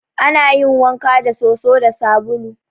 Ana yin wanka da soso da sabulu.